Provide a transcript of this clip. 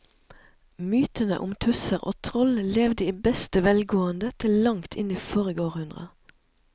Mytene om tusser og troll levde i beste velgående til langt inn i forrige århundre.